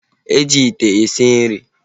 E ji ite esi nri